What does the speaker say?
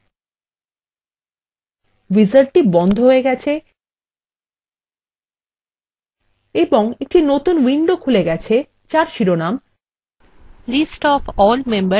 উইজার্ডটি বন্ধ হয়ে গেছে এবং একটি নতুন উইন্ডো খুলে গেছে যার শিরোনাম list of all members and phone numbers